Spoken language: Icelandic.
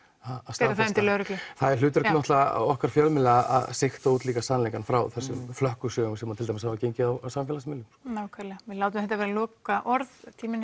staðfesta það er hlutverk okkar fjölmiðla að siga út líka sannleikann frá þessum flökkusögum sem til dæmis hafa gengið á samfélagsmiðlum nákvæmlega við látum þetta vera lokaorðin